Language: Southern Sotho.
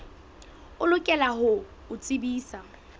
o lokela ho o tsebisa